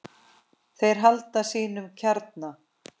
Þeir halda sínum kjarna.